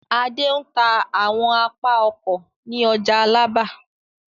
Adé ń ta àwọn apá ọkọ̀ ní ọjà Alábà.